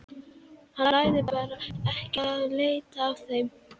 Hann lagði bara ekki í að leita að þeim.